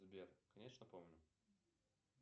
сбер конечно помню